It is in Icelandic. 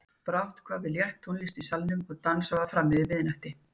Brátt kvað við létt tónlist í salnum og dansað var fram yfir miðnætti.